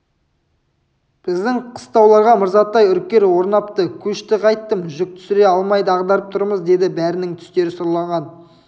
біздің қыстауларға мырзатай үркер орнапты көшті қайттім жүк түсіре алмай дағдарып тұрмыз деді бәрінің түстері сұрланған